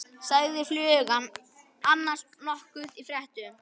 Sagði flugan annars nokkuð í fréttum?